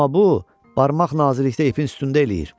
Amma bu, barmaq naziklikdə ipin üstündə eləyir.